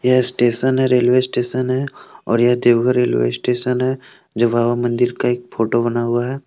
ये स्टेशन है railway station है और ये देवघर रेलवे स्टेशन है जो बाबा मंदिर का एक फोटो बना हुआ है।